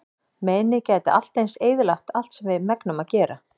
Meinið gæti allt eins eyðilagt allt sem við megnum að gera.